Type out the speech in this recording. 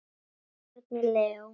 Árni Leó.